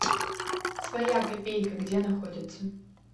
своя копейка где находится